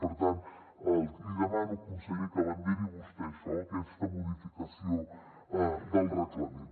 per tant li demano conseller que vagi al capdavant d’això d’aquesta modificació del reglament